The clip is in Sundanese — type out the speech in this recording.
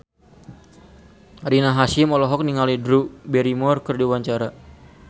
Rina Hasyim olohok ningali Drew Barrymore keur diwawancara